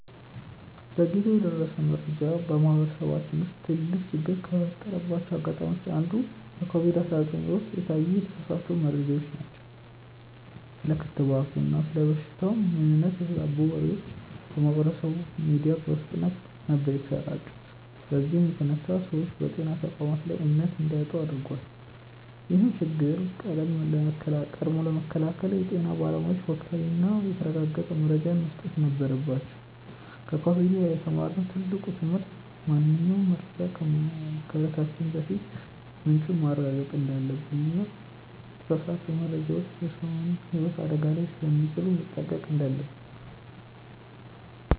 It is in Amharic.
ዘግይቶ የደረሰ መረጃ በማህበረሰባችን ውስጥ ትልቅ ችግር ከፈጠረባቸው አጋጣሚዎች አንዱ በኮቪድ 19 ወቅት የታዩ የተሳሳቱ መረጃዎች ናቸው። ስለ ክትባቱና ስለ በሽታው ምንነት የተዛቡ ወሬዎች በማህበራዊ ሚዲያ በፍጥነት ነበር የተሰራጩት በዚህም የተነሳ ሰዎች በጤና ተቋማት ላይ እምነት እንዲያጡ አድርጓል። ይህን ችግር ቀድሞ ለመከላከል የጤና ባለሙያዎች ወቅታዊና የተረጋገጠ መረጃን መስጠት ነበረባቸው። ከኮቪድ የተማርነው ትልቁ ትምህርት ማንኛውንም መረጃ ከማጋራታችን በፊት ምንጩን ማረጋገጥ እንዳለብንና የተሳሳቱ መረጃዎች የሰውን ህይወት አደጋ ላይ ስለሚጥሉ መጠንቀቅ እንዳለብን ነው።